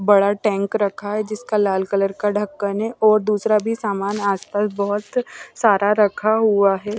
बड़ा टैंक रखा है जिसका लाल कलर का ढक्कन है और दूसरा भी सामान आसपास बहुत सारा रखा हुआ है।